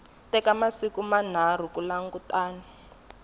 teka masiku manharhu ku langutana